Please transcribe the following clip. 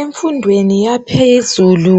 Emfundweni yaphezulu